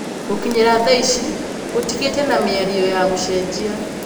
Gũkinyĩria thaici gũtigĩte na mĩario ya gũcenjia